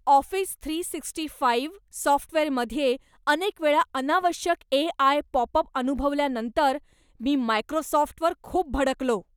Office three sixty five सॉफ्टवेअरमध्ये अनेक वेळा अनावश्यक एआय पॉपअप अनुभवल्यानंतर मी मायक्रोसॉफ्टवर खूप भडकलो.